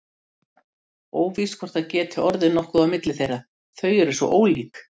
Mér fannst það bara sniðugt það sem ég sá af því, segir mamma.